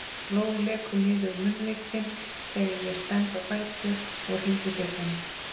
Blóð lekur niður munnvikin þegar ég stend á fætur og hringi bjöllunni.